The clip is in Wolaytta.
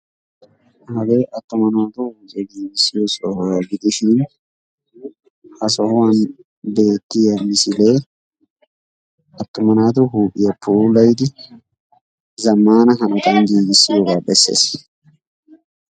Hagee attuma naati cigissiyo sohuwa gidishini attuma naatu huuphiya pulayidi zamaana hanotan giigissiyoogaa besees.